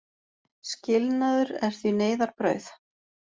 Skilnaður er því neyðarbrauð.